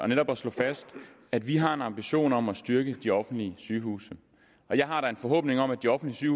netop at slå fast at vi har en ambition om at styrke de offentlige sygehuse jeg har da en forhåbning om at de offentlige